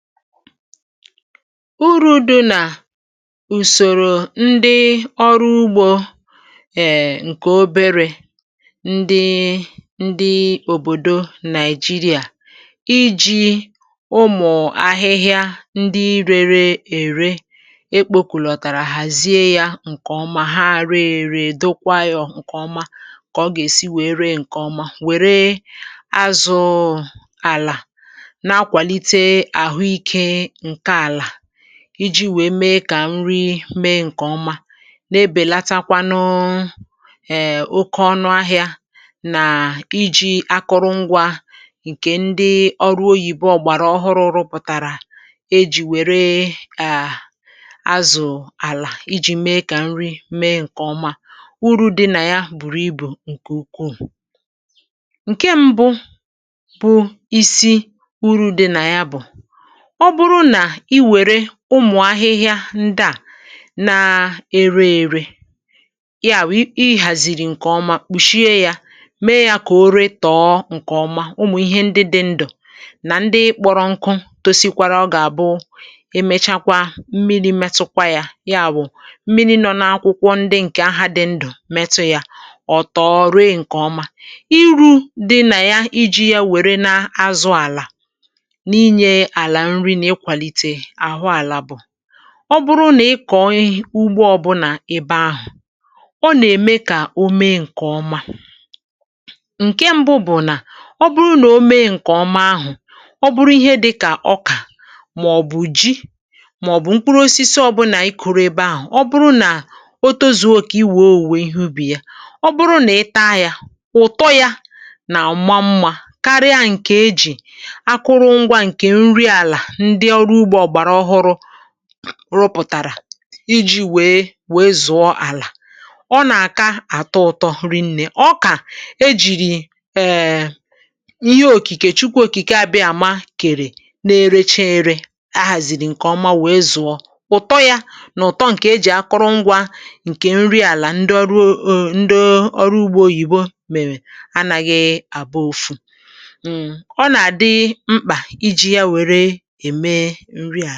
Ụrụ̀ dị̇ nà ùsòrò ndị ọrụ ugbȯ. Ee, ǹkè obere ndị ndị òbòdò Nàị̀jírìà iji̇ ụmụ̀ ahịhịa ndị rėrė-ère ekpȯ kùlọ̀tàrà hàzie yȧ ǹkè ọma. Ha àrị-èrè, dọkwa ọ̀, ǹkè ọma kà ọ gà-èsi wèe ree ǹkè ọma. Wère azụ̇ àlà iji̇ wèe mee kà nri mee ǹkè ọma um, na-ebèlatakwanụ ẹ̀ẹ̀ oke ọnụ ahịȧ. Nà iji̇ akụrụ-ngwȧ ǹkè ndị ọrụ oyìbo, ọ̀gbàrà ọhụrụ pụ̇tàrà um, e jì wère à azụ̀ àlà iji̇ mee kà nri mee ǹkè ọma. Ùrù̇ dị nà ya bùrù ibù, ǹkè ukwuù. Ǹkè ṁbụ bụ isi ùrù̇ dị nà ya bụ̀: ọ bụrụ nà i wère ụmụ̀ ahịhịa ndị à na-ere-ere, ya wù i hàzìrì ǹkè ọma, kpùshie ya, mee ya kà o ree tọọ ǹkè ọma. Ụmụ̀ ihe ndị dị ndụ̀ nà ndị kpọrọ nkụ tosikwara um, ọ gà-àbụụ, emechakwa mmiri metụkwa ya, ya bụ̀ mmiri nọ n’akwụkwọ ndị ǹkè ahụ̀ dị ndụ̀ metụ ya, ọ̀ tọọrụ ǹkè ọma. Ìrù̇ dị nà ya iji̇ ya wère na-azụ àlà. Ọ bụrụ nà ị kọ̀ọ ugbȯ ọbụlà, ebe ahụ̀ ọ nà-ème kà o mee ǹkè ọma. Ǹkè mbụ bụ̀ nà ọ bụrụ nà o mee ǹkè ọma ahụ̀, ọ bụrụ ihe dịkà ọkà, màọ̀bụ̀ ji, màọ̀bụ̀ mkpụrụ osisi ọbụlà i kụrụ ebe ahụ̀ um, ọ bụrụ nà o tozuo okė, iwė owè ihe ubì ya ụ̀bụrụ nà ị taa yȧ, ụ̀tọ yȧ nà ụ̀ma mmȧ karịa ya. Ǹkè ejì rụpụ̀tàrà iji̇ wèe zụ̀ọ àlà um, ọ nà-àka àtụ ụ̀tọ rinnė ọkà. E jìrì eeee ihe òkìkè Chukwu Òkìkè abịa àma, kèrè na-erechiere, ahàzìrì ǹkè ọma, wèe zụ̀ọ ụ̀tọ yȧ n’ụ̀tọ. Ǹkè e jì akọrọ ngwȧ, ǹkè nri àlà, ndị ọrụ ugbȯ oyìbo mèmè, anaghị̇ abụ ọ́fụ̀ ǹkè ǹrìà.